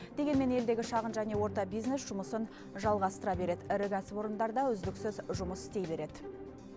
дегенмен елдегі шағын және орта бизнес жұмысын жалғастыра береді ірі кәсіпорындар да үздіксіз жұмыс істей береді